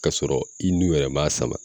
K'a sɔrɔ i nu yɛrɛ m'a sama